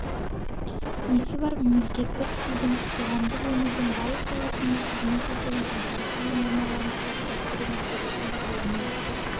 несі бар мемлекеттік тілдің қоғамдық өмірдің барлық саласында қызмет етуін әдеби тіл нормаларын қалыптастыру мәселесін ғылыми